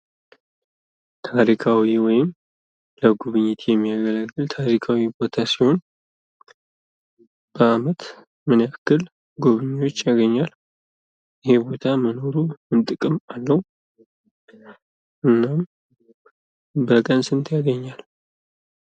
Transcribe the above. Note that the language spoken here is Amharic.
ታሪካዊ ወይም ለጉብኝት የሚሆን ታሪካዊ ቦታ ሲሆን በአመት ምን የክል ጎብኚዎች ያገኛል? ይህ ቦታ መኖሩ ምን ጥቅም አለው? እናም በቀን ስንት ያገኛል?